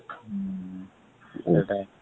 ଉଁ